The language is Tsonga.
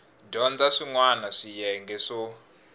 dyondza swin wana swiyenge swo